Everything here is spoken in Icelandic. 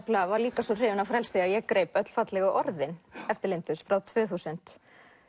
var líka svo hrifin af frelsi að ég greip öll fallegu orðin eftir Lindu frá tvö þúsund